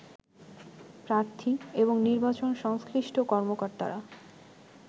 প্রার্থী এবং নির্বাচন সংশ্লিষ্ট কর্মকর্তারা